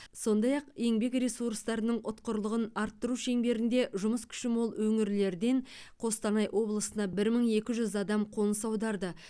сондай ақ еңбек ресурстарының ұтқырлығын арттыру шеңберінде жұмыс күші мол өңірлерден қостанай облысына бір мың екі жүз адам қоныс аударды